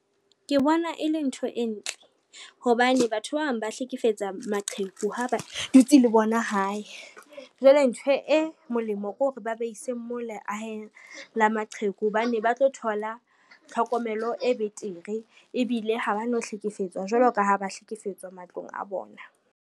Ke bona e le ntho e ntle hobane batho ba bang ba hlekefetsa maqheku ha ba dutse le bona hae, jwale ntho e molemo ke hore ba ba ise mo leahe la maqheku hobane ba tlo thola tlhokomelo e betere ebile ha ba no hlekefetswa jwalo ka ha ba hlekefetswa matlong a bona.